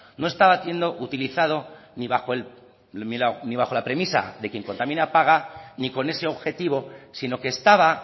no estaba haciendo utilizado ni bajo la premisa de quien contamina paga ni con ese objetivo sino que estaba